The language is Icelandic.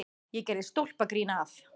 Ég gerði stólpagrín að